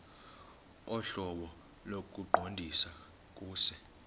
ohlobo lokuqondisa kuse